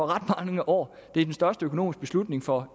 ret mange år det er den største økonomiske beslutning for